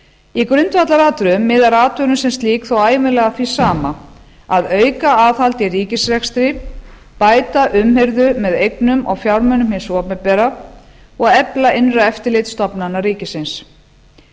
í grundvallaratriðum miðar athugunin sem slík þó ævinlega að því sama að auka aðhald í ríkisrekstri bæta umhirðu með eignum og fjármunum hins opinbera og efla innra eftirlit stofnana ríkisins